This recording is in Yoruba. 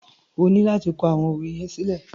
O ní láti kọ àwọn òwe yẹn sílẹ̀.